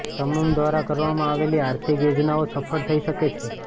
તમારા દ્વારા કરવામાં આવેલી આર્થિક યોજનાઓ સફળ થઈ શકે છે